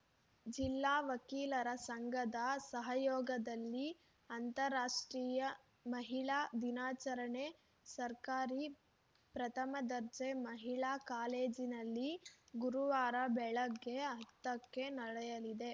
ಜಿಲ್ಲಾ ವಕೀಲರ ಸಂಘದ ಸಹಯೋಗದಲ್ಲಿ ಅಂತರಾಷ್ಟ್ರೀಯ ಮಹಿಳಾ ದಿನಾಚರಣೆ ಸರ್ಕಾರಿ ಪ್ರಥಮ ದರ್ಜೆ ಮಹಿಳಾ ಕಾಲೇಜಿನಲ್ಲಿ ಗುರುವಾರ ಬೆಳಗ್ಗೆ ಹತ್ತಕ್ಕೆ ನಡೆಯಲಿದೆ